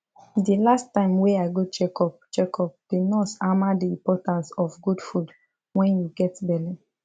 the last time wey i go check up check up the nurse hammer the importance of good food wen you get belle